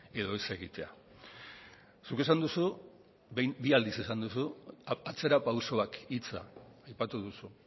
edo ez egitea zuk esan duzu bi aldiz esan duzu atzerapausoak hitza aipatu duzu